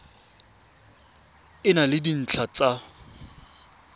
e na le dintlha tsa